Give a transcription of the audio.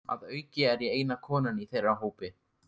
Að auki er ég eina konan í þeirra hópi.